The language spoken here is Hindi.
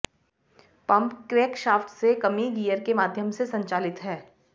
पंप क्रैंकशाफ्ट से कमी गियर के माध्यम से संचालित है